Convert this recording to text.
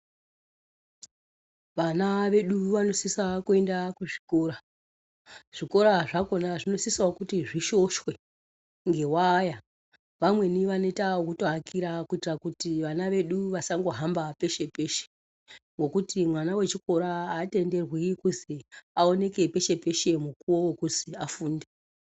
Vana vedu vanosisa kuenda kuzvikora, zvikora zvakona zvinosisawo kuti zvishoshwe ngewaya, vamweni vanoyita wokutoakira kuyitira kuti vana vedu vasangohamba peshe-peshe, ngokuti mwana wechikora atenderwi kuzi awonekwe peshe-peshe mukuwo wekuzi afunde.